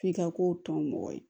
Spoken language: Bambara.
F'i ka ko tɔ mɔgɔ ye